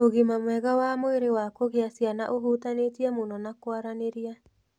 Ũgima mwega wa mwĩrĩ wa kugĩa ciana ũhutanĩtie mũno na kwaranĩria.